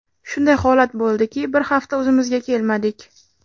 Shunday holat bo‘ldiki, bir hafta o‘zimizga kelmadik.